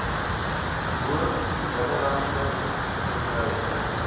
bo binnelandse verbruik